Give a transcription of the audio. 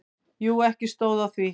Jú, ekki stóð á því.